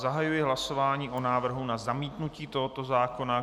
Zahajuji hlasování o návrhu na zamítnutí tohoto zákona.